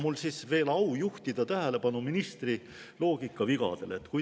Mul on veel au juhtida tähelepanu ministri loogikavigadele.